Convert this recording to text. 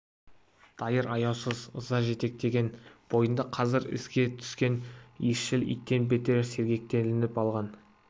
дайыр аяусыз ыза жетектеген бойында қазір ізге түскен иісшіл иттен бетер сергектеніп алған